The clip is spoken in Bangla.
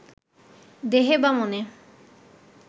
দেহে বা মনে